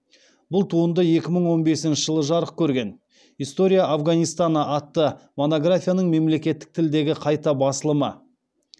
бұл туынды екі мың он бесінші жылы жарық көрген история афганистана атты монографияның мемлекеттік тілдегі қайта басылымы